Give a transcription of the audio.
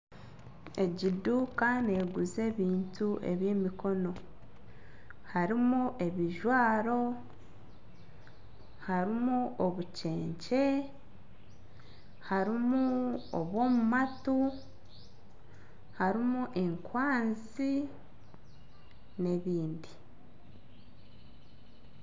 Egi eduuka neguza ebintu eby'emikono harimu ebijwaro, harimu obukyekye, harimu obw'omu matu harimu enkwanzi n'ebindi.